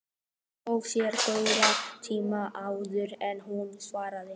Hún tók sér góðan tíma áður en hún svaraði.